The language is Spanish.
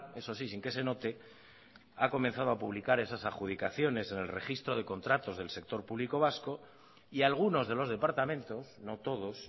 eso sí sin que se note ha comenzado a publicar esas adjudicaciones en el registro de contratos del sector público vasco y algunos de los departamentos no todos